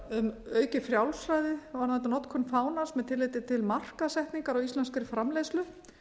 um aukið frjálsræði varðandi notkun fánans með tilliti til markaðssetningar á íslenskri framleiðslu